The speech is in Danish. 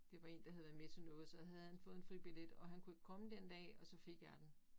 Det var én der havde været med til noget så havde han fået en fribillet og han kunne ikke komme den dag og så fik jeg den